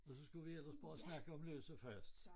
Og så skulle vi ellers bare snakke om løs og fast